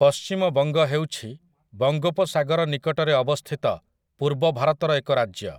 ପଶ୍ଚିମବଙ୍ଗ ହେଉଛି ବଙ୍ଗୋପସାଗର ନିକଟରେ ଅବସ୍ଥିତ ପୂର୍ବ ଭାରତର ଏକ ରାଜ୍ୟ ।